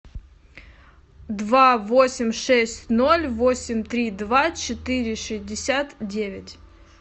два восемь шесть ноль восемь три два четыре шестьдесят девять